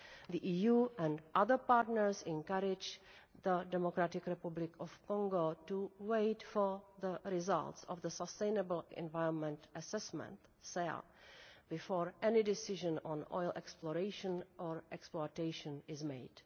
The EU and other partners encourage the DRC to wait for the results of the Sustainable Environment Assessment before any decision on oil exploration or exploitation is made.